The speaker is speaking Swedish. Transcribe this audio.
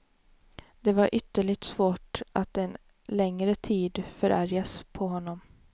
Det var ytterligt svårt att en längre tid förargas på honom.